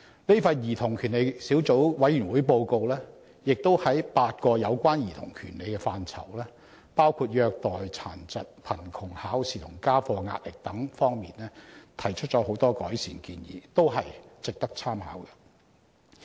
這份兒童權利小組委員會的報告亦在8個有關兒童權利的範疇，包括虐待、殘疾、貧窮、考試及家課壓力等方面提出了許多改善建議，均值得當局參考。